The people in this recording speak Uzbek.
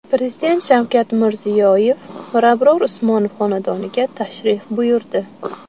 Prezident Shavkat Mirziyoyev Mirabror Usmonov xonadoniga tashrif buyurdi.